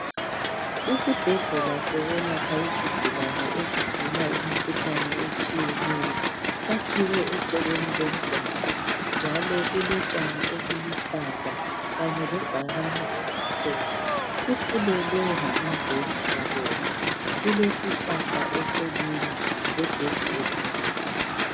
Isibhedlela sokwelapha izigulane ezigula imikhuhlane etshiyeneyo sakhiwe eceleni komgwaqo njalo kulotshani obuluhlaza kanye lebhakane elimhlophe. Sifulelwe ngamazenge abomvu ,kulesihlahla eceleni legedi elimnyama.